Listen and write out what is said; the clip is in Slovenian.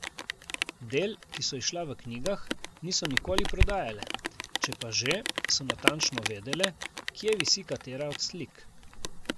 Del, ki so izšla v knjigah, niso nikoli prodajale, če pa že, so natančno vedele, kje visi katera od slik.